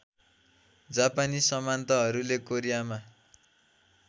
जापानी सामन्तहरूले कोरियामा